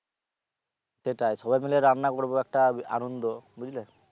সেটাই সবাই মিলে রান্না করবো একটা আনন্দ বুঝলে?